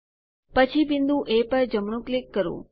પછી બિંદુ એ પર જમણું ક્લિક કરો